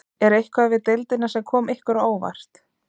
Er eitthvað við deildina sem kom ykkur á óvart?